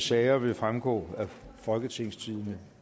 sager vil fremgå af folketingstidende